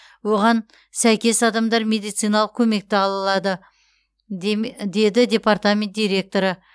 оған сәйкес адамдар медициналық көмекті алады де деді департамент директоры